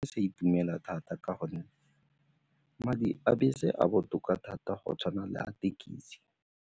Sa itumela thata ka gonne madi a bese a botoka thata go tshwana le a thekisi.